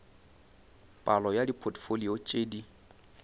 palo ya dipotfolio tše di